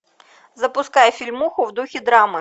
запускай фильмуху в духе драмы